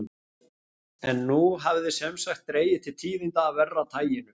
En nú hafði sem sagt dregið til tíðinda af verra taginu.